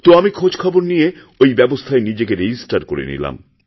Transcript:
তো আমি খোঁজখবর নিয়েঐ ব্যবস্থায় নিজেকে রেজিস্টার করে নিলাম